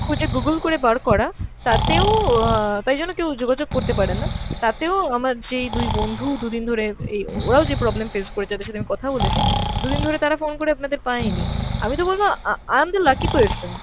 খুঁজে Google করে বার করা, তাতেও অ্যাঁ তাই জন্য কেও যোগাযোগ করতে পারেনা, তাতেও আমার যে দুই বন্ধু দু'দিন ধরে এই ওরাও যে problem face করেছে, তাদের সাথে আমি কথা বলেছি, দু'দিন ধরে তারা phone করে আপনাদের পাইনি। আমি তো বলব uh~ uh~ i am the lucky person,